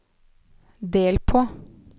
del på